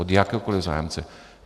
Od jakéhokoli zájemce.